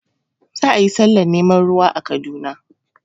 Za a yi sallah neman ruwa